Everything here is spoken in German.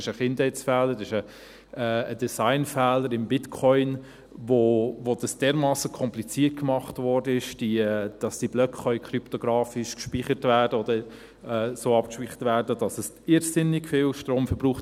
Das ist ein Kindheitsfehler, ein Designfehler im Bitcoin, bei dem es dermassen kompliziert gemacht wurde, dass diese Blöcke kryptografisch gespeichert werden können oder so abgespeichert werden, dass es irrsinnig viel Strom verbraucht.